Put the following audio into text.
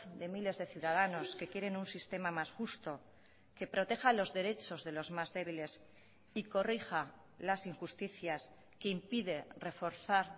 de miles de ciudadanos que quieren un sistema más justo que proteja los derechos de los más débiles y corrija las injusticias que impide reforzar